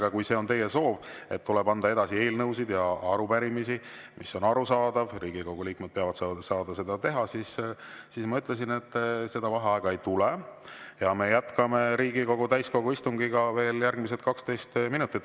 Aga kui teie soov on, et tuleb edasi anda üle eelnõusid ja arupärimisi – mis on arusaadav, Riigikogu liikmed peavad saama seda teha –, siis ma ütlesin, et seda vaheaega ei tule ja me jätkame Riigikogu täiskogu istungiga veel järgmised 12 minutit.